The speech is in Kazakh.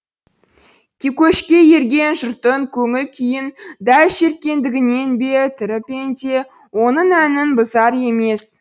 көшке ерген жұрттың көңіл күйін дәл шерткендігінен бе тірі пенде оның әнін бұзар емес